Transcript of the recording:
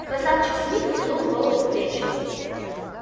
красавчик смит втянул голову в плечи